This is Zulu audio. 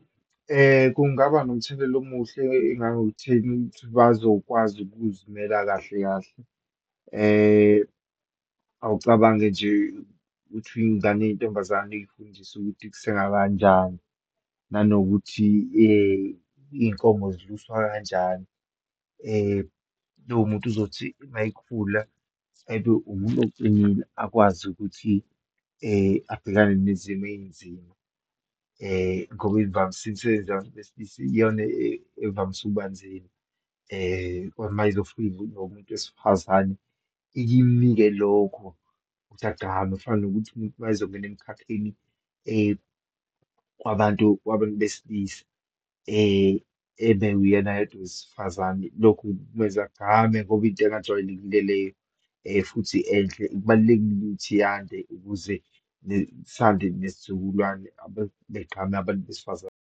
Kungaba nomthelela omuhle engangokutheni bazokwazi ukuzimela kahle kahle. Awucabange nje uthi iyingane eyintombazane uyifundise ukuthi kusengwa kanjani, nanokuthi iyinkomo ziluswa kanjani. Lowo muntu uzothi uma ekhula abe umuntu oqinile akwazi ukuthi abhekane nezimo eyinzima, ngoba imvamsi imisebenzi yabantu besilisa iyona evamise ukubanzima. Uma izofika umuntu wesifazane ikinmike lokho ukuthi agqame, kufana nokuthi umuntu uma ezongena emkhakheni kwabantu, kwabantu besilisa, ebe uyena yedwa owesifazane. Lokhu kumenza agqame ngoba into engajwayelekile leyo, futhi enhle. Kubalulekile ukuthi iyande ukuze sande nesizukulwane begqame abantu besifazane.